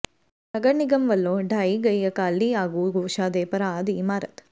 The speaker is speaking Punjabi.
ਨਗਰ ਨਿਗਮ ਵਲੋਂ ਢਾਹੀ ਗਈ ਅਕਾਲੀ ਆਗੂ ਗੋਸ਼ਾ ਦੇ ਭਰਾ ਦੀ ਇਮਾਰਤ